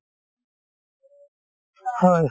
হয়